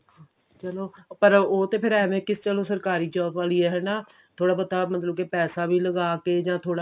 ਚਲੋ ਪਰ ਉਹ ਤੇ ਫੇਰ ਐਵੇਂ ਆ ਕਿ ਚਲੋ ਸਰਕਾਰੀ job ਵਾਲੀ ਏ ਹਨਾ ਥੋੜਾ ਬਹੁਤਾ ਮਤਲਬ ਕਿ ਪੈਸਾ ਵੀ ਲਗਾ ਕਿ ਜਾਂ